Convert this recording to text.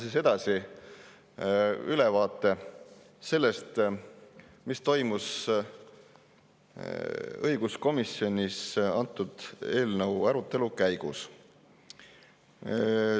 Ma annan ülevaate sellest, mis toimus õiguskomisjonis selle eelnõu arutelu käigus.